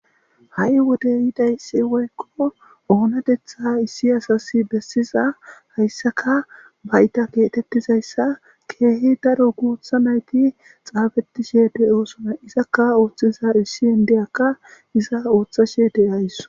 Ha7i wode yiday si woykko oonatetha issi asas bessiza hayssaka bayita keetettizayssa keehi daro guotha nayti xaafetishe de oosona izakka ooththiza issi hindeyakka iza ooththashe de'ays.